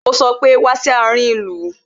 Ó sọ pé "Wá sí àárín ìlú"